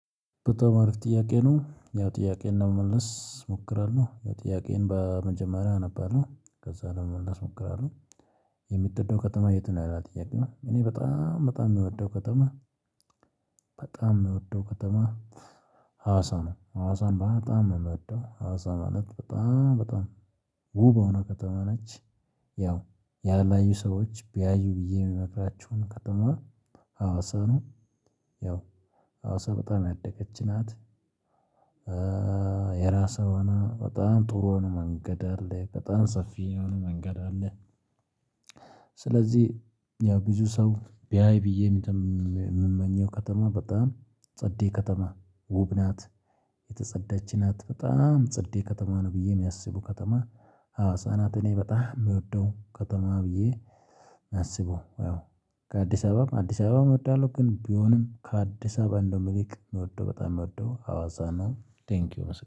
የተማሪው ጥያቄ ነው ያው ጥያቄን ለመመለስ እሞክራለሁ ያው ጥያቄዉን በመጀመሪያ አነባለሁ ከዛ ደግሞ ለመመለስ እሞክራለሁ። የምትወደው ከተማ የት ነው? ይላል ጥያቄው እኔ በጣም በጣም የሚወደው ከተማ። በጣም የምወደው ከተማ ሀዋሳ ነው ሀዋሳን በጣም ነው የምወደው ሀዋሳ ማለት በጣም በጣም ውብየሆነ ከተማ ነች። ያው ያላዩ ሰዎች ቢያዩ ብዬ የምመክራቸውን ከተማ ሀዋሳ ነው። ያው ሀዋሳ በጣም ያደገች ናት። የራስህ በጣም ጥሩ ነው መንገድ አለ በጣም ሰፊ የሆነ መንገድ አለ። ስለዚህ ያው ብዙ ሰው ቢያይ የምመኘው ከተማ በጣም ጸዴ ከተማ ውብ ናት። የተጸዳች ናት በጣም ጸዴ ከተማ ነው ብዬ የሚያስቡ ከተማ ሀዋሳናት እኔ በጣም የምወደው ከተማ ብዬ። አስቡ ያው ከአዲስ አበባም አዲስ አበባም እወዳለሁ። ግን ቢሆንም ከአዲስ አበባ እንደውም ይልቅ የምወደው በጣም የምወደው ሀዋሳ ነው። ቴንኪው